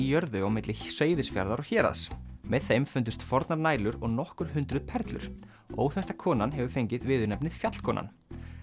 jörðu á milli Seyðisfjarðar og Héraðs með þeim fundust fornar og nokkur hundruð perlur óþekkta konan hefur fengið viðurnefnið Fjallkonan